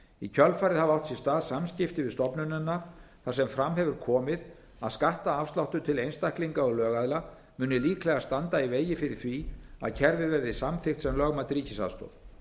í kjölfarið hafa átt sér stað samskipti við stofnunina þar sem fram hefur komið að skattafsláttur til einstaklinga og lögaðila muni líklega standa í vegi fyrir því að kerfið verði samþykkt sem lögmæt ríkisaðstoð